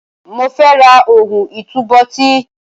Mo fẹ́ ra ohun ìtúbóòtì.